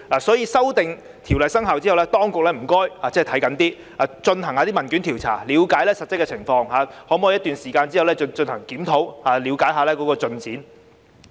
所以，在經修訂的條例生效後，請當局看緊一些，透過進行問卷調查了解實質情況，並在一段時間後進行檢討，以了解進展。